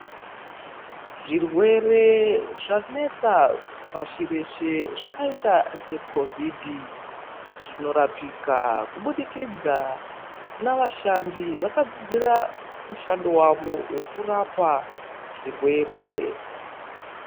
Zvirwere zvanetsa pashi reshe zvakaita seCOVID zvinorapika kuburikidza navashandi vakadzidzira mushando wavo wokurapa zvirwere.